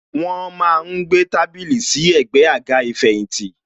Wọn má ń gbé tábìlì sí ẹ̀gbẹ́ àga ìfẹ̀yìntì.